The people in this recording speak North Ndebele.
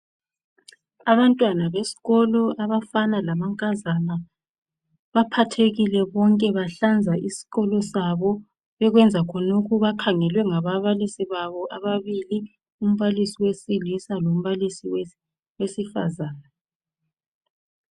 Abantwana besikolo abafana lamankazana baphathekile bonke bahlanza isikolo sabo . Bekwenza khonokhu bakhangelwe ngaba balisi babo ababili umbalisi wesilisa lombalisi wesifazana.